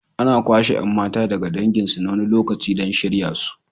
Ana kwashe 'yan mata daga danginsu na wani lokaci don shirya su.